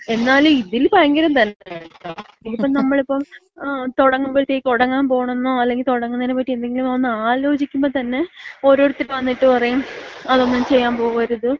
എന്നാലും ഇതില് ഭയങ്കരം തന്നെ കേട്ടാ. ഇനി ഇപ്പം നമ്മളിപ്പം തൊടങ്ങുമ്പഴത്തേക്ക്, തൊടങ്ങാൻ പോണെന്നോ അല്ലെങ്കി തൊടങ്ങുന്നതിനെപ്പറ്റി എന്തെങ്കിലുമൊന്ന് ആലോചിക്കുമ്പോ തന്നെ ഓരോരുത്തർ വന്നിട്ട് പറയും അതൊന്നും ചെയ്യാമ്പോവരുത്.